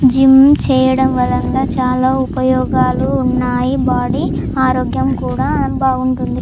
Gym చేయడం వల్ల చాలా ఉపయోగాలు ఉన్నాయి.బాడీ ఆరోగ్యం కూడా బాగుంటుంది.